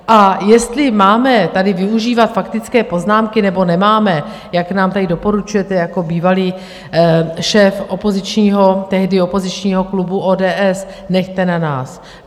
A jestli máme tady využívat faktické poznámky, nebo nemáme, jak nám tady doporučujete jako bývalý šéf tehdy opozičního klubu ODS, nechte na nás.